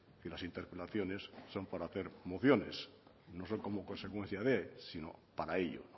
que las interpelaciones son para hacer mociones no son como consecuencia de sino para ello